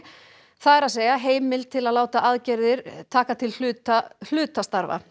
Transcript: það er að segja heimild til að láta aðgerðir taka til hluta hluta starfa